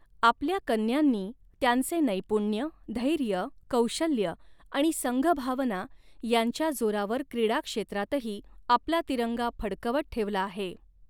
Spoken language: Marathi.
आपल्या कन्यांनी त्यांचे नैपुण्य, धैर्य, कौशल्य आणि संघभावना यांच्या जोरावर क्रीडा क्षेत्रातही आपला तिरंगा फडकवत ठेवला आहे.